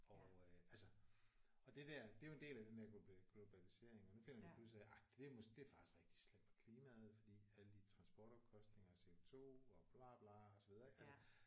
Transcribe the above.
Og øh altså og det der det er jo en del af den der globalisering og nu finder vi jo pludselig ud af ej det er måske det er faktisk rigtig slemt for klimaet fordi alle de transportomkostninger og CO2 og bla bla og så videre altså